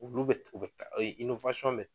Olu bɛ u bɛ e